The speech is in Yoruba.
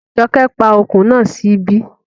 Jọkẹ́ pa ọkùn náà sí ibí